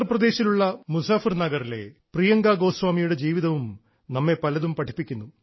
ഉത്തർപ്രദേശിലുള്ള മുസഫർ നഗറിലെ പ്രിയങ്കാ ഗോസ്വാമിയുടെ ജീവിതവും നമ്മെ പലതും പഠിപ്പിക്കുന്നു